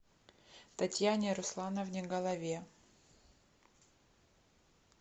татьяне руслановне голове